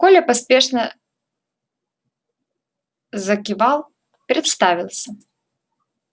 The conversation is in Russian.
коля поспешно закивал представился